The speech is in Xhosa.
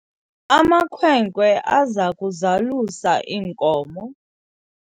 amakhwenkwana aza kuzalusa iinkomo